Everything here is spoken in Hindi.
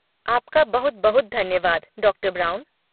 आपका बहुत बहुत धन्यवाद, डॉक्टर ब्राउन।